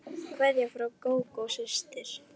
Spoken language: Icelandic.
Kveðja frá Gógó systur.